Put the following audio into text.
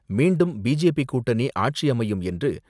மீண்டும் பி.ஜே.பி. கூட்டணி ஆட்சி அமையும் என்று,